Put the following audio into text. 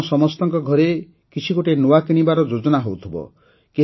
ଆପଣ ସମସ୍ତଙ୍କ ଘରେ କିଛି ଗୋଟିଏ ନୂଆ କିଣିବାର ଯୋଜନା ହେଉଥିବ